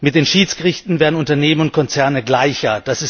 Mit den Schiedsgerichten werden Unternehmen und Konzerne gleicher.